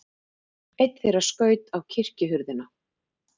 Einn þeirra skaut á kirkjuhurðina.